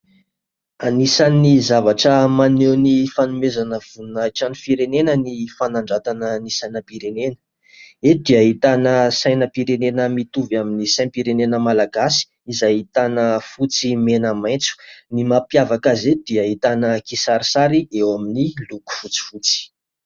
Anisan'ny zavatra maneho ny fanomezana voninahitra ny firenena ny fanandratana ny sainam-pirenena ; eto dia ahitana sainam-pirenena mitovy amin'ny sainam-pirenena malagasy izay ahitana fotsy, mena, maitso, ny mampiavaka azy eto dia ahitana kisarisary eo amin'ny loko fotsifotsy.